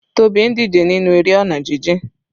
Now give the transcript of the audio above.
Tobi ń díje nínú eré ọ̀nà jijìn.